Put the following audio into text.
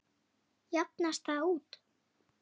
Jafnast það út?